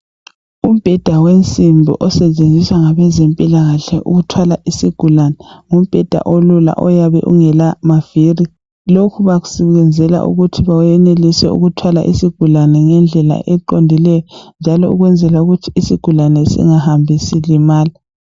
Umbheda wensimbi osetshenziswa ngabezempilakahle ukuthwala isigulane ngumbheda olula oyabe ungela maviri lokhu bakuyenzela ukuthi benelise ukuthwala isigulane ngendlela eqondileyo njalo ukwenzela ukuthi isigulane singahambi silimala